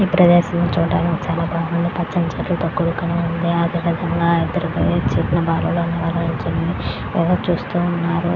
ఈ ప్రదేశం చూడడానికి చానా బాగుంది పచ్చని ప్రజలు చూస్తూ ఉన్నారు.